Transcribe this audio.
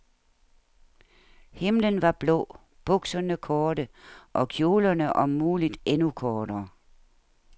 Himlen var blå, bukserne korte, og kjolerne om muligt endnu kortere.